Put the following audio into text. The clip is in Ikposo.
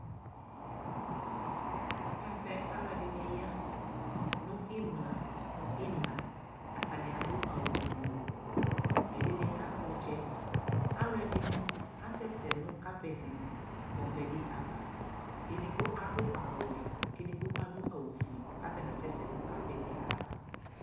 Ɛvɛ aluɛdini ya nu imla nu ina atami adu awu buɛ ɛdini kakpɔ ɔtsɛ aluɛdini asɛsɛ nu kapɛti di li avɛ di ava edigbo adu awu ɔwɛ ku edigbo adu awu ofue katala asɛsɛ nu kapɛti edigbo ayava